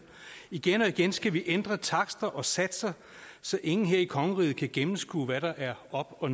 igen og igen skal vi ændre takster og satser så ingen her i kongeriget kan gennemskue hvad der er op og